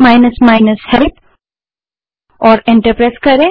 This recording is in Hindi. माइनस माइनस हेल्प टाइप करें और एंटर दबायें